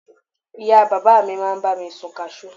ìyá bàbá mi ma ba mi sun cashew